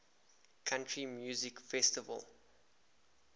country music festival